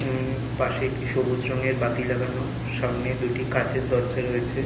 উম পাশে একটি সবুজ রংয়ের বাতি লাগানো সামনে দুটি কাচের দরজা রয়েছে।